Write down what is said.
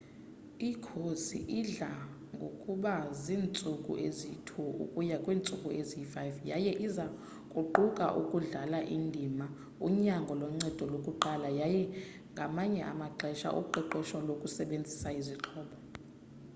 ikhosi idla ngokuba ziintsuku eziyi-2 ukuya kweziyi-5 yaye iza kuquka ukudlala indima unyango loncedo lokuqala yaye ngamanye amaxesha uqeqesho lokusebenzisa izixhobo